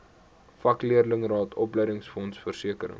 vakleerlingraad opleidingsfonds versekering